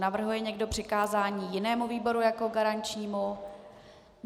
Navrhuje někdo přikázání jinému výboru jako garančnímu?